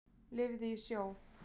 Lifði í sjó.